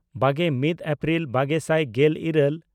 ᱵᱟᱜᱮᱼᱢᱤᱫ April ᱵᱟᱜᱮ ᱥᱟᱭ ᱜᱮᱞᱼᱤᱨᱟᱹᱞ